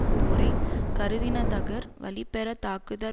போரை கருதின தகர் வலிபெறத் தாக்குதற்